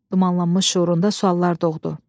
Dumanlanmış şüurunda suallar doğdu.